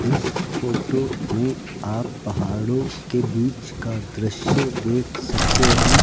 इस फोटो में आप पहाड़ों के बीच का दृश्य देख सकते हैं।